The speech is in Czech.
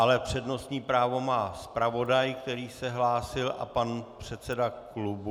Ale přednostní právo má zpravodaj, který se hlásil, a pan předseda klubu.